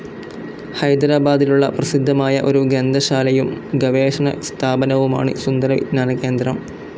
ഹൈദരാബാദിലുള്ള പ്രസിദ്ധമായ ഒരു ഗ്രന്ഥശാലയും ഗവേഷണ സ്ഥാപനവുമാണ് സുന്ദര വിജ്ഞാന കേന്ദ്രം.